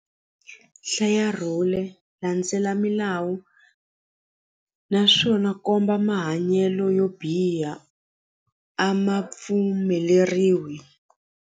Hlaya rhule landzela milawu naswona komba mahanyelo yo biha a ma pfumeleriwi.